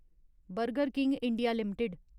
burger king India limited